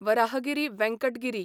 Varahagiri Venkata Giri